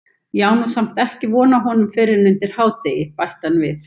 Ég á nú samt ekki von á honum fyrr en undir hádegi- bætti hann við.